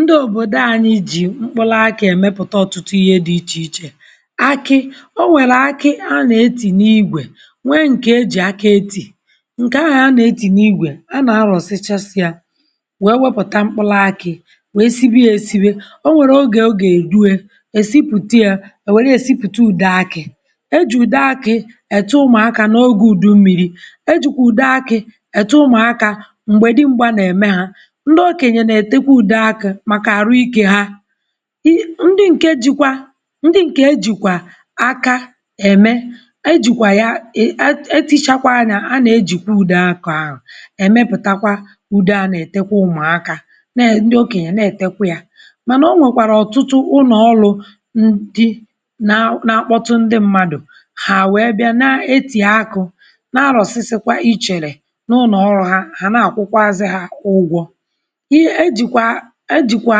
Ndị̀ òbodò anyị̀ jì m̄kpụlụ̀ akị̀ emeputà ọtụtụ ihè dị̀ iche ichè akị̀ o nwerè akị̀ a na-etì n’igwè nwè nkè e jì aka etì nkè ahụ̀ a na-etì n’igwè a na-arọ̀sìchasị̀ yà wee weputà m̄kpụlụ̀ akị̀ wee sibè yà esibè o nwerè ogè ọ ga-eduè e sipùtà yà e werè yà siputà udè akị̀ e jì udè akị̀ e tè ụmụakà n’ogè udù mmirì e jikwà udè akị̀ etè ụmụakà m̄gbè dị̀ mgbà na-emè hà ndị̀ okenyè na-etèkwà udè akị̀ màkà arụ̀ ike hà i ndị̀ nkè jikwà ndị̀ nkè ejikwà aka emè e jikwà yà e e etichakwà nyà, a na-ejì udè akị̀ ahụ̀ emèputakwà udè a na-etekwà ụmụakà neè ndị̀ okenyè na-etèkwà yà mànà onwèkwarà ọtụtụ ụnọ̀ ọlụ̀ ndị̀ nà, na-akpọ̀tụ̀ ndị̀ mmadụ̀ hà weè bịà na-etì akụ nà alọ̀sị̀sịkwà ichelè n’ụlọ̀ ọlụ̀ hà, hà na-akwụ̀kwàzị̀ hà ugwọ̀ ihe ejikwà ejikwà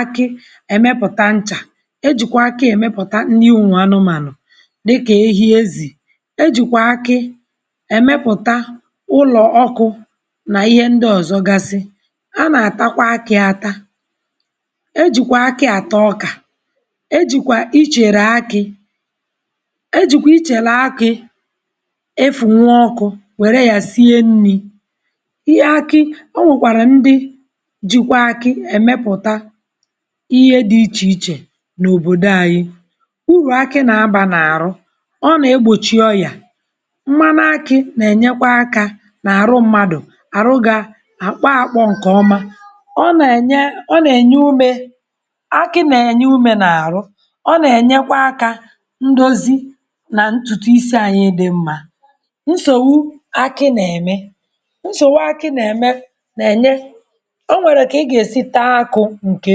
akị̀ emèpụ̀tà nchà ejikwà akị̀ emèputà nnì ụmụanụ̀manụ̀ dịkà ehi, ezì ejikwà akị̀ emèpụtà ụlọ̀ ọkụ̀ n’ihe ndị̀ ozọ̀gasị̀ a na-atàkwà akị̀ atà e jikwà akị̀ atà ọkà e jikwà icherè akị̀ e jikwà icherè akị̀ efùnwù ọkụl werè yà siè nnì ihe akị̀ o nwèkwarà ndị̀ jikwà akì emèputà ihe dịl iche ichè n’òbodò anyị̀ urù akị̀ na-abà n’arụ̀ ọ na-egbochì ọyà mmanụ̀ akị̀ na-enyekwà aka n’arụ̀ mmadụ̀ ọrụ̀ gà akpọ̀akpọ̀ nkè ọmà ọ na-enyè ọ na-enyè umè akị̀ na-enyè umè n’arụ̀ ọ na-enyèkwà aka ndozì nà ntụ̀tụ̀ isi anyị̀ dị̀ mmà nsogbù akị̀ na-emè nsogbù akị̀ na-emè na-enyè onwerè kà ị ga-esì taà akụ̀ nkè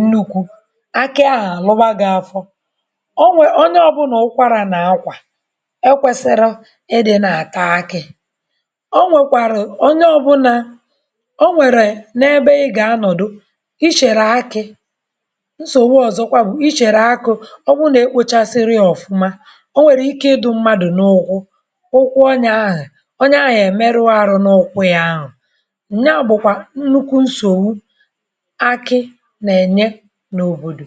nnukwù akị̀ ahụ̀ alụ̀bà gị̀ afọ̀ onwè, onyè ọbụnà ụkwarà na-akwà ekwesirọ̀ ị dị̀ na-atà akị̀ o nwèkwarù onyè ọbụnà o nwerè na-ebè ị gà-anọdụ̀ i cherè akị̀ nsorò ọzọ̀kwà bụ̀ icherè akụ ebe ọ na-ekpochasirò ọfụ̀mà o nwerè ike ịdụ̀ mmadụ̀ n’ukwụ̀ ụkwụ̀ onyè ahụ̀ onyè ahụ̀ emèruò arụ̀ n’ụkwụ̀ yà ahụ̀ nyà bụkwà nnukwù nsogbù akị̀ na-enyè n’òbodò